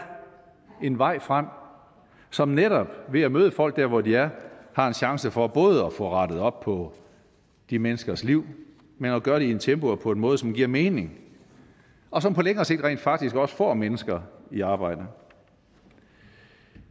en vej frem som netop ved at møde folk der hvor de er har en chance for både at få rettet op på de menneskers liv men at gøre det i et tempo og på en måde som giver mening og som på længere sigt rent faktisk også får mennesker i arbejde